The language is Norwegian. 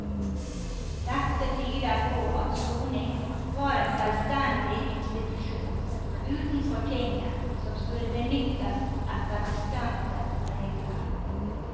Dette tyder på at soning var en selvstendig institusjon utenfor tinget som skulle benyttes etter bestemte regler.